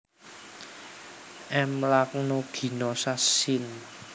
M lanuginosa syn